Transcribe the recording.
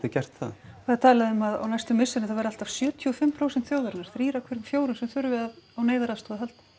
gert það það er talað um að á næstu misserum þá verði allt að sjötíu og fimm prósent þjóðarinnar þrír af hverjum fjórum sem þurfi á neyðaraðstoð að halda